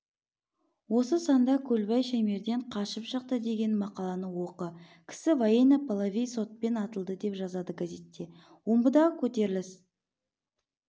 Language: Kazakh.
осы санда көлбай шаймерден қашып шықты деген мақаланы оқы кісі военно-полевой сотпен атылды деп жазады газетте омбыдағы көтеріліс